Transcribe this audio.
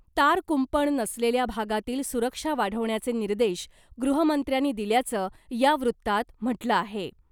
तार कुंपण नसलेल्या भागातील सुरक्षा वाढवण्याचे निर्देश गृहमंत्र्यांनी दिल्याचं , या वृत्तात म्हटलं आहे .